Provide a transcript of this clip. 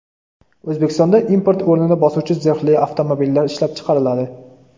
O‘zbekistonda import o‘rnini bosuvchi zirhli avtomobillar ishlab chiqariladi.